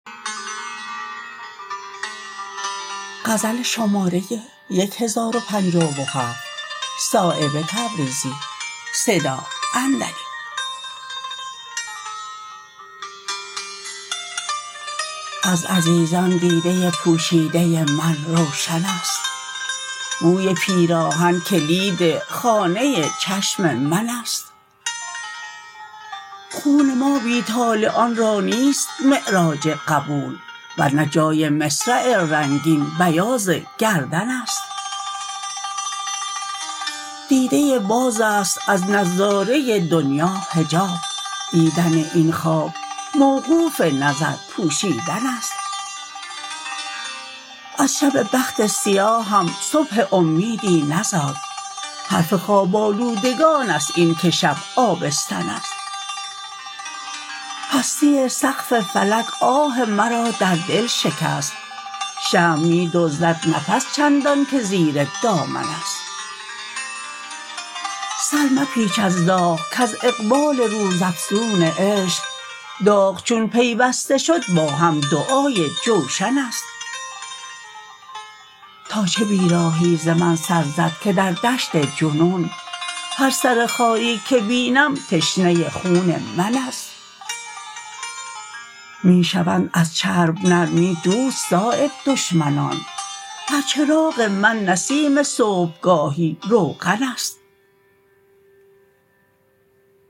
از عزیزان دیده پوشیده من روشن است بوی پیراهن کلید خانه چشم من است خون ما بی طالعان را نیست معراج قبول ورنه جای مصرع رنگین بیاض گردن است دیده بازست از نظاره دنیا حجاب دیدن این خواب موقوف نظر پوشیدن است از شب بخت سیاهم صبح امیدی نزاد حرف خواب آلودگان است این که شب آبستن است پستی سقف فلک آه مرا در دل شکست شمع می دزدد نفس چندان که زیر دامن است سرمپیچ از داغ کز اقبال روزافزون عشق داغ چون پیوسته شد با هم دعای جوشن است تا چه بیراهی ز من سر زد که در دشت جنون هر سر خاری که بینم تشنه خون من است می شوند از چرب نرمی دوست صایب دشمنان بر چراغ من نسیم صبحگاهی روغن است